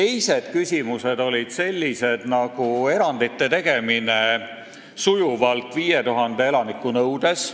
Pakkusime ka erandite tegemist 5000 elaniku nõudes.